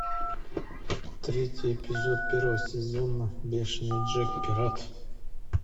третий эпизод первого сезона бешеный джек пират